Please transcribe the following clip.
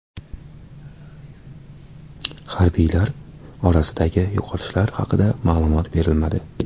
Harbiylar orasidagi yo‘qotishlar haqida ma’lumot berilmadi.